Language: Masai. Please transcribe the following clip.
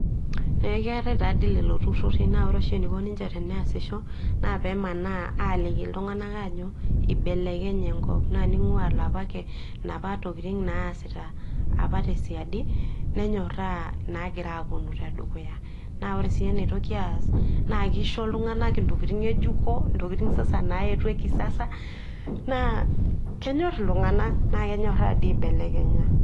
ee ketae tadoi lelo tururi, na ore oshi enaiko ninche teneasisho na pemana aliki iltngana ajo ibelekenye enkop, na ningua ilapa ake inapa tokitin naasita apa tesiadi ,nenyora nangira aponu. tedukuya, na ore si enaitoki as na kisho iltunganak intokitin ngejuko, ntokitin sasa naetuo ekisasa, na kenyor iltungana na kenyora dii aibelekenya,